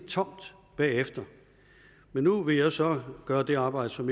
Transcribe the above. tomt bagefter men nu vil jeg så gøre det arbejde som